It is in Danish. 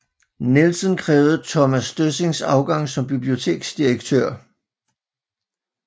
Nielsen krævede Thomas Døssings afgang som biblioteksdirektør